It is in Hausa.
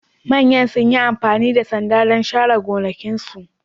Manyan sun yi amfani da sanda don share gonakinsu